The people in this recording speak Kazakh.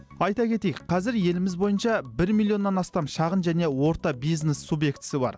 айта кетейік қазір еліміз бойынша бір миллионнан астам шағын және орта бизнес субъектісі бар